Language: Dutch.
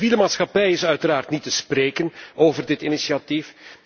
De civiele maatschappij is uiteraard niet te spreken over dit initiatief.